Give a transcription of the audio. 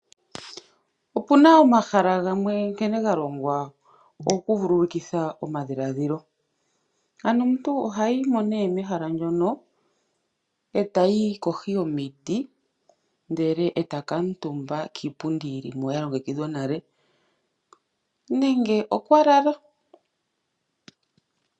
Opuna omahala gamwe nkene ga longwa ogo kuvululukitha omadhilaadhilo. Omuntu oha yimo mehala ndyono eta yi kohi yomiti ndele eta kuutumba kiipundi yi limo ya longekidhwa nale nenge okwa lala.